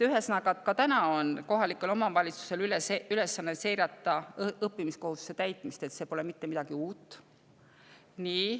Ühesõnaga, ka täna on kohalike omavalitsuste ülesanne seirata õppimiskohustuse täitmist, see pole mitte midagi uut.